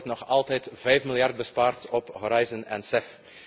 Er wordt nog altijd vijf miljard bespaard op Horizon en